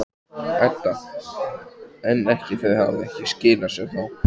Edda: En ekki, þau hafa ekki skilað sér þá?